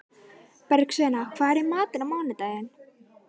Bergsveina, hvað er í matinn á mánudaginn?